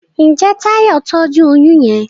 Njé Tayo tọjú oyún yén.